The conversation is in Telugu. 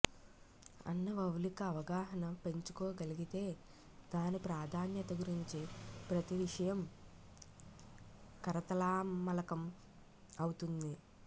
అన్న వౌలిక అవగాహన పెంచుకోగలిగితే దాని ప్రాధాన్యత గురించి ప్రతి విషయం కరతలామలకం అవుతుంది